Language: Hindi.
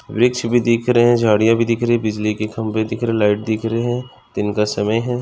वृक्ष भी दिख रहे है झाड़िया भी दिख रही है बिजली के खंबे दिख रहे लाइट दिख रहे है दिन का समय है।